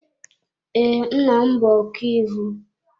Ee, nna m bụ ọkàiwu.